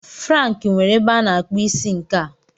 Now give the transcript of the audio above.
Frank nwere ebe a na-akpụ isi nke a.